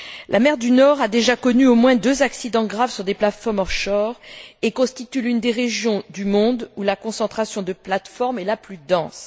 La mer du Nord a déjà connu au moins deux accidents graves sur des plateformes off shore et constitue l'une des régions du monde où la concentration de plateformes est la plus dense.